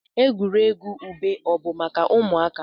Egwuregwu ube o bụ maka ụmụaka?